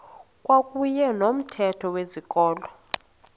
kwakuyne nomthetho wezikolo